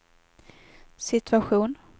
situation